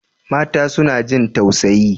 Mata suna jin tausayi.